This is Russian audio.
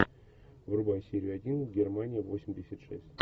врубай серию один германия восемьдесят шесть